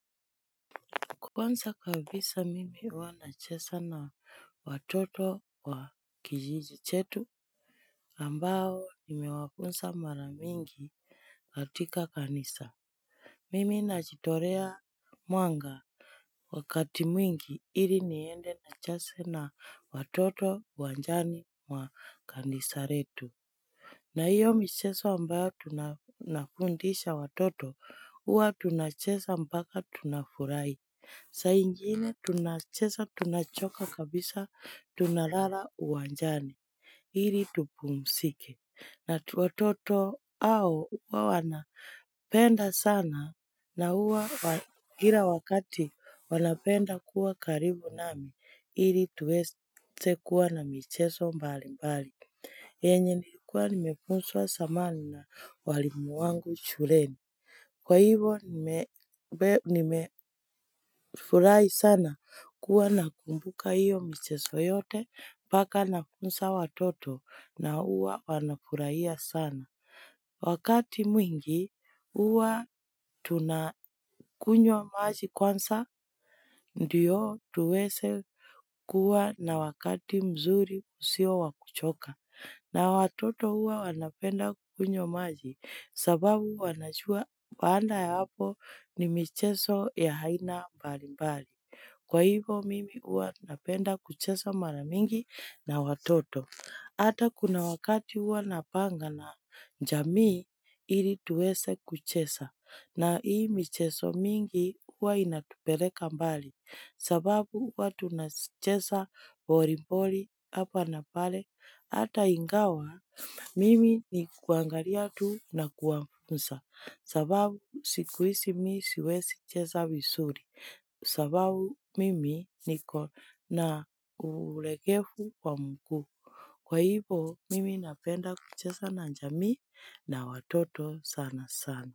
Kwanza kabisa mimi huwanachesa na watoto wa kijijichetu ambao nimewafunsa maramingi katika kanisa. Mimi najitorea mwanga. Wakati mwingi ili niende na chase na watoto wanjani mwa kanisaretu. Na hiyo mcheso ambayo tunafundisha watoto huwa tunachesa mpaka tunafurahi. Saaingine tunacheza tunachoka kabisa tunalala uwanjani ili tupumzike na watoto hao huwa wana penda sana na huwa kila wakati wana penda kuwa karibu nami ili tuweze kuwa na micheso mbali mbali. Enye nikuwa nimeposwa samani na walimu wangu shuleni. Kwa hivo nimefurahi sana kuwa nakumbuka iyo mcheso yote mpaka nafunza watoto na huwa wanafuraiya sana. Wakati mwingi uwa tunakunywa maji kwanza ndiyo tuwese kuwa na wakati mzuri usio wakuchoka. Na watoto hua wanapenda kunywa maji sababu wanajua baanda ya hapo ni michezo ya haina mbali mbali. Kwa hivo mimi huwa napenda kuchesa maramingi na watoto. Ata kuna wakati hua napanga na njamii ili tuwese kuchesa na hii mcheso mingi hua inatupereka mbali. Sababu watu na chesa mborimbori hapa na pale, hata ingawa, mimi ni kuangalia tuu na kuwafunsa. Sababu sikuisi mi siwezi cheza vizuri. Sababu mimi niko na ulegevu wa mkuu. Kwa hivo, mimi napenda kuchesa na njami na watoto sana sana.